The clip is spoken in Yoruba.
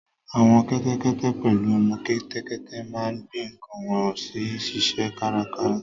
Àwọn kẹ́tẹ́kẹ́tẹ́ pẹ̀lú ọmọ kẹ́tẹ́kẹ́tẹ́ máa ń gbé nǹkan wọ́n sì ń ṣiṣẹ́ kárakára